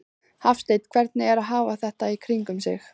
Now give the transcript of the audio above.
Hafsteinn: Hvernig er að hafa þetta í kringum sig?